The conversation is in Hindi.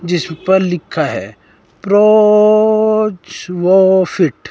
जिस पर लिखा है प्रो चो फिट ।